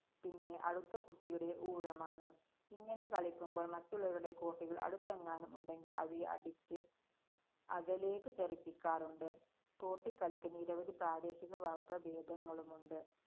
പിന്നെ അടുത്ത കുട്ടിയുടെ ഊഴമാണ്. ഇങ്ങനെ കളിക്കുമ്പോള്‍ മറ്റുള്ളവരുടെ കോട്ടികള്‍ അടുത്തെങ്ങാനും ഉണ്ടെങ്കില്‍ അവയെ അടിച്ച് അകലേക്കു തെറിപ്പിക്കാറുണ്ട്. കോട്ടികളിക്ക് നിരവധി പ്രാദേശിക വകഭേദങ്ങളുമുണ്ട്.